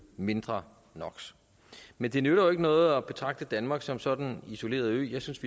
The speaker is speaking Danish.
mindre no men det nytter jo ikke noget at betragte danmark som sådan en isoleret ø jeg synes